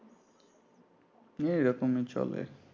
নিয়ে এ রকমই চলে